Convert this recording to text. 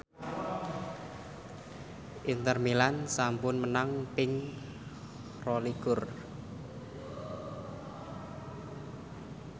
Inter Milan sampun menang ping rolikur